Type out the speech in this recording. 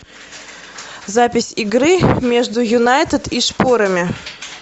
запись игры между юнайтед и шпорами